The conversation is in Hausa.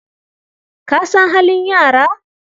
Ka san halin yara?